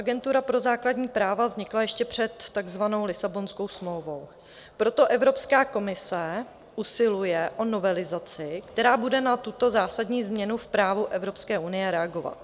Agentura pro základní práva vznikla ještě před takzvanou Lisabonskou smlouvou, proto Evropská komise usiluje o novelizaci, která bude na tuto zásadní změnu v právu Evropské unie reagovat.